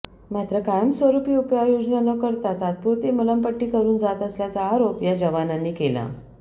मात्र कायमस्वरुपी उपाययोजना न करता तात्पुरती मलमपट्टी करून जात असल्याचा आरोप या जवानांनी केला